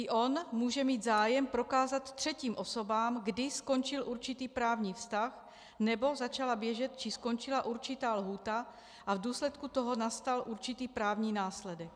I on může mít zájem prokázat třetím osobám, kdy skončil určitý právní vztah nebo začala běžet či skončila určitá lhůta a v důsledku toho nastal určitý právní následek.